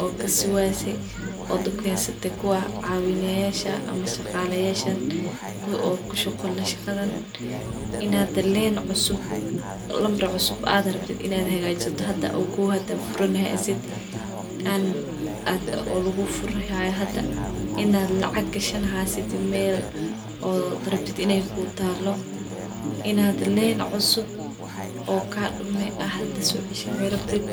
uu fududeyah arinkan lambar cusub ad rabtid in ad hagjisid in ad sificn uhagajisid in len cusub oo hada kadume soceshaninrantid.